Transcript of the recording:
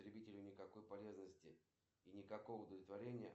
салют начни показывать это видео заново